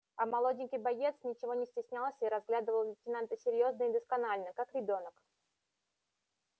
а молоденький боец ничего не стеснялся и разглядывал лейтенанта серьёзно и досконально как ребёнок